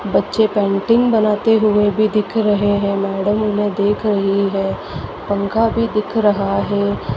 बच्चे पेंटिंग बनाते हुए भी दिख रहे हैं मैडम उन्हें देख रही है पंखा भी दिख रहा है।